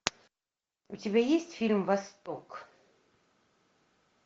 у тебя есть фильм восток